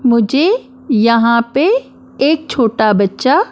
मुझे यहाँ पे एक छोटा बच्चा--